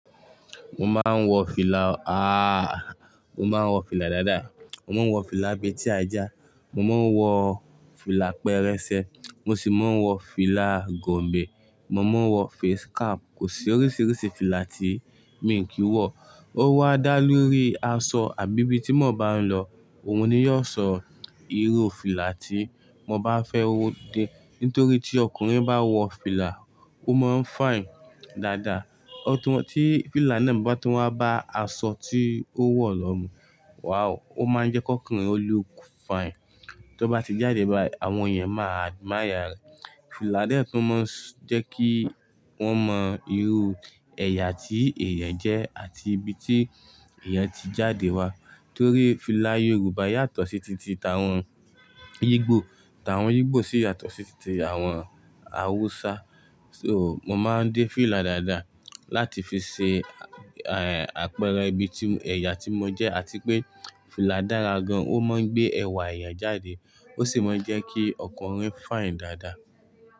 Mo máa ń wọ fìlà, ah, mo máa ń wọ fìlà dáadáa. Mo máa ń wọ fìlà bee tí ajá, mo máa ń wọ fìlà pẹrẹsẹ, mo sì máa ń wọ fìlà gòǹbè, mo máa ń wọ face cap. Kò sí oríṣiríṣi fìlà tí mi ò kí ń wọ. Ó wá dá lórí asọ àbí bí tí mo bá ń lọ. Ohun ni yóò sọ irú fìlà tí mo bá fẹ́ wo dé. Nítorí tí ọkùnrin bá wọ fìlà, ó máa ń fine dáadáa. Ó tún mọ tí fìlà náà bá tún wá bá aṣọ tí ó wọ̀ lọ mu. Wow! Ó máa ń jẹ́ kí ọkùnrin ó look fine. Tí ó bá ti jáde báyi, àwọn ènìyàn máa admire rẹ̀. Fìlà dẹ́tun máa ń jẹ́ kí wọ́n mọ irú ẹ̀yà tí èèyàn jẹ́ àti ibi tí èèyàn ti jáde wá. Torí fìlà Yorùbá yàtọ̀ sí titi tawọn ìgbò, tawọn ìgbò sì yàtọ̀ sí titi àwọn Hausa. So, mo máa ń dé fìlà dáadáa láti fi ṣe, eh, àpẹẹrẹ ibi tí, ẹ̀yà tí mo jẹ́ àti pé fìlà dára gan-an, ó máa ń gbé ẹwà ẹ̀yàn jáde, ó sì máa ń jẹ́ kí ọkùnrin fine dáadáa.